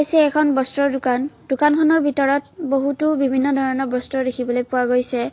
এইখন এখন বস্ত্ৰৰ দোকান দোকানখনৰ ভিতৰত বহুতো বিভিন্ন ধৰণৰ বস্ত্ৰ দেখিবলৈ পোৱা গৈছে।